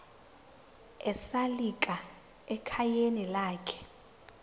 esalika ekhayeni lakhe